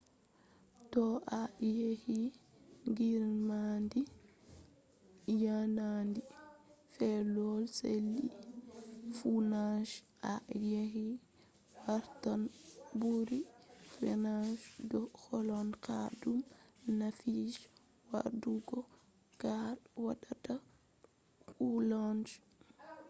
to a yahi greenland hadar yanayi peewol la’akari be koh sali funange a yahi wartan ɓuri fewugo do holla ha do nafu je waɗugo kare watata wulenga ishashe